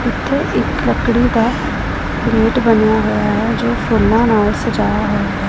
ਇੱਥੇ ਇੱਕ ਲੱਕੜੀ ਦਾ ਰੂਟ ਬਣਿਆ ਹੋਇਆ ਹੈ ਜੋ ਕਿ ਫੁੱਲਾਂ ਨਾਲ ਸਜਾਇਆ ਹੋਇਆ ਹੈ।